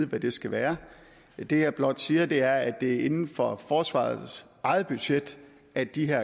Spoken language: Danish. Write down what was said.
hvad de skal være det jeg blot siger er at det er inden for forsvarets eget budget at de her